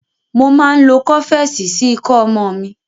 Mo máa ń lo Kọ́fẹ́sì sí ikọ́ ọmọ mi.